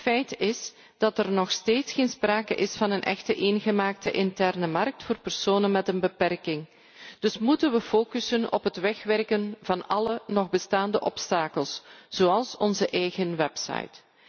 Feit is dat er nog steeds geen sprake is van een echte eengemaakte interne markt voor personen met een beperking. Dus moeten wij focussen op het wegwerken van alle nog bestaande obstakels, zoals onze eigen website.